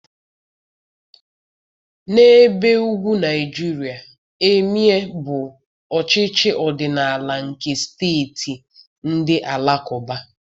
N'ebe ugwu Nigeria, Emịee bụ ọchịchị ọdịnala nke steeti ndị Alakụba.